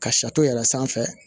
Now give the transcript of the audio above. Ka yɛrɛ sanfɛ